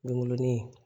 Nungu ni